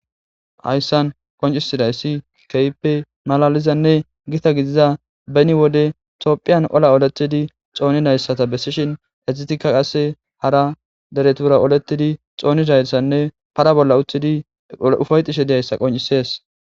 Haysan qoncisidas kehipe malalizanne gita gita gidiza beni wode tophiyan olaoletidi xonidayta besishn hesatika qase hara deretura oletidi xonidaysanne para bolla utidi ufayetishe dizaysa qoncises